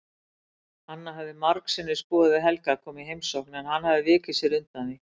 Anna hafði margsinnis boðið Helga að koma í heimsókn en hann vikið sér undan því.